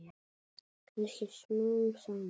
Kannski smám saman.